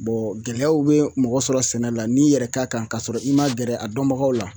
gɛlɛyaw bɛ mɔgɔ sɔrɔ sɛnɛ la n'i yɛrɛ ka kan ka sɔrɔ i ma gɛrɛ a dɔnbagaw la